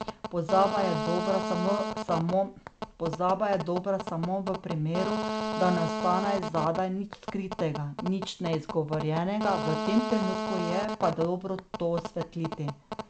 Pozaba je dobra samo v primeru, da ne ostane zadaj nič skritega, nič neizgovorjenega, v tem trenutku je pa dobro to osvetliti.